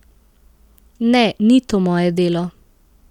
Ne, ni to moje delo.